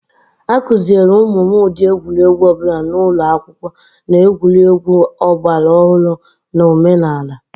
A kụziere ụmụ m ụdị egwuregwu ọbụla n'ụlọ akwụkwọ, na egwuregwu ọgbaraọhrụ na omenala